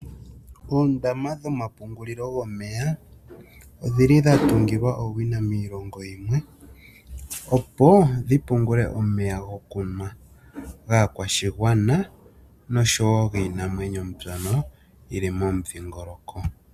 Oondama dhomapungulilo gomeya odhili dhatungilwa owina miilongo yimwe opo wupungule omeya gokunwa gaakwashigwana noshowoo giinamwenyo mbyono yili momundhingoloko .